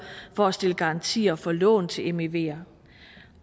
for at stille garantier for lån til mever